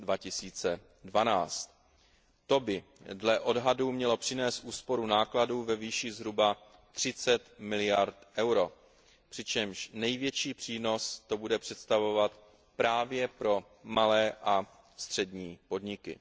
2012. To by dle odhadů mělo přinést úsporu nákladů ve výši zhruba 30 miliard eur, přičemž největší přínos to bude představovat právě pro malé a střední podniky.